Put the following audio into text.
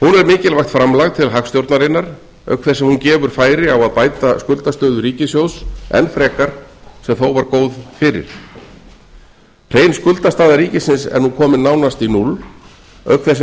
mikilvægt framlag til hagstjórnarinnar auk þess sem hún gefur færi á að bæta skuldastöðu ríkissjóðs enn frekar sem þó var góð fyrir hrein skuldastaða ríkisins er nú komin nánast í núll auk þess sem